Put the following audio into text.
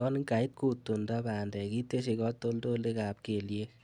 Yon kait kutundo bandek itesyi katoltolikab keliek .